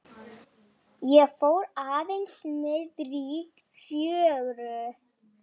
Ég fór aðeins niðrí fjöru.